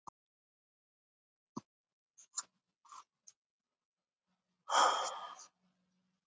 Guðrún: Og gekk vel?